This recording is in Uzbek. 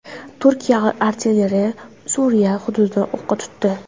Turkiya artilleriyasi Suriya hududini o‘qqa tutdi.